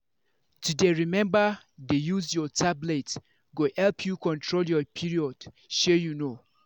to dey remember dey use your tablet go help you control your perod shey you know.